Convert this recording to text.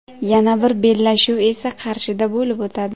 Yana bir bellashuv esa Qarshida bo‘lib o‘tadi.